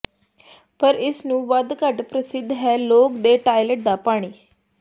ਪਰ ਇਸ ਨੂੰ ਵੱਧ ਘੱਟ ਪ੍ਰਸਿੱਧ ਹੈ ਲੋਕ ਦੇ ਟਾਇਲਟ ਦਾ ਪਾਣੀ